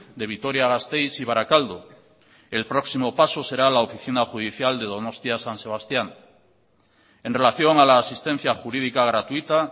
de vitoria gasteiz y barakaldo el próximo paso será la oficina judicial de donostia san sebastián en relación a la asistencia jurídica gratuita